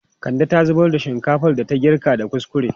Kande ta zubar da duka shinkafan da ta girka da kuskure.